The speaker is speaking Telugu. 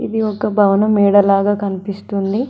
ఇది ఒక భవన మేడలాగ కనిపిస్తుంది.